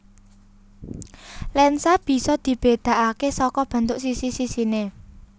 Lensa bisa dibedakake saka bentuk sisi sisine